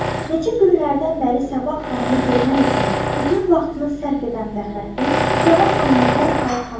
Neçə günlərdən bəri Səbah xanımı görmək üçün bütün vaxtını sərf edən Fəxrəddin Səbah xanımı dərhal tanıdı.